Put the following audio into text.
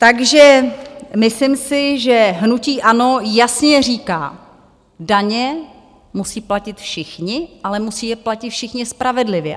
Takže myslím si, že hnutí ANO jasně říká - daně musí platit všichni, ale musí je platit všichni spravedlivě.